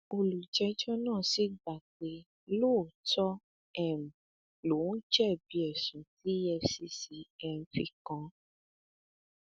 olùjẹjọ náà sì gbà pé lóòótọ um lòún jẹbi ẹsùn tí efcc um fi kàn án